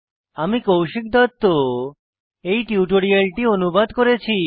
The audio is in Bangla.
আমি কৌশিক দত্ত এই টিউটোরিয়ালটি অনুবাদ করেছি